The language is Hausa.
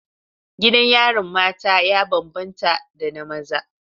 Gidan yarin mata ya bambanta da na maza.